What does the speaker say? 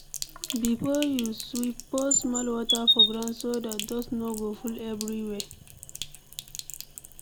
Before you sweep pour small water for ground so dat dust no go full everywhere.